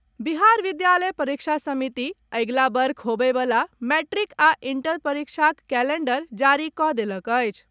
बिहार विद्यालय परीक्षा समिति अगिला वर्ष होबए वला मैट्रिक आ इंटर परीक्षाक कैलेंडर जारी कऽ देलक अछि।